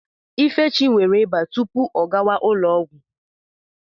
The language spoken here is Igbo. Ifechi nwere ịba tupu ọ gawa ụlọ ọgwụ.